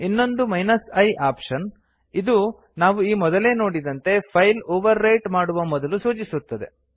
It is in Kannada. ಇನ್ನೊಂದು i ಆಪ್ಶನ್ ಇದು ನಾವು ಈ ಮೊದಲೇ ನೋಡಿದಂತೆ ಫೈಲ್ ಓವರ್ ರೈಟ್ ಮಾಡುವ ಮೊದಲು ಸೂಚಿಸುತ್ತದೆ